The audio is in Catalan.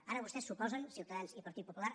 ara vostès s’oposen ciutadans i partit popular